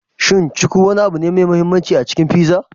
Shin cuku wani abu ne mai mahimmanci a cikin pizza?